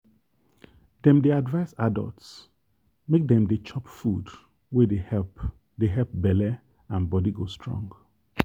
dem dey advise adults make dem dey chop food wey dey help dey help belle and body go strong.